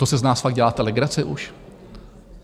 To si z nás fakt děláte legraci už?